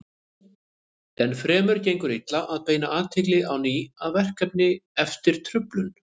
Enn fremur gengur illa að beina athyglinni á ný að verkefninu eftir truflun.